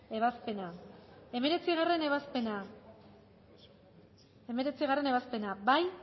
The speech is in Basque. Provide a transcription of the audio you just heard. ebazpena hemeretzigarrena ebazpena bozkatu